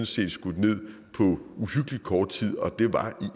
set skudt ned på uhyggelig kort tid og det er